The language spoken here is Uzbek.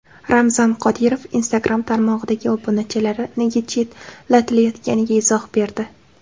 Ramzan Qodirov Instagram tarmog‘idagi obunachilari nega chetlatilayotganiga izoh berdi .